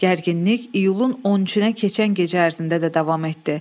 Gərginlik iyulun 13-ə keçən gecə ərzində də davam etdi.